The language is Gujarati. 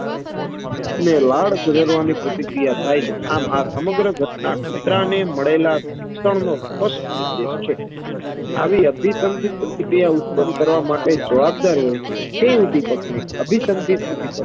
લાડ જરવાની પ્રતિક્રિયા થાય છે, આમ આ સમગ્ર ઘટના કૂતરાને મળેલા શિક્ષણ નો સ્પસ્ટ નિર્દેશ છે. આવી અભિસંધીત પ્રતિક્રિયા ઉત્પન કરવા માટે જવાબ દાર હોય તે ઉદ્દીપક ને અભિસંધીત ઉદ્દીપક